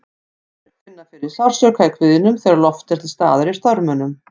Sumir finna fyrir sársauka í kviðnum þegar loft er til staðar í þörmunum.